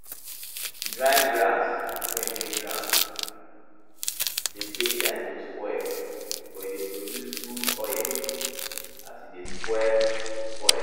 dry grass wey dey ground dey take time to spoil but e dey produce good oil as e dey spoil dey spoil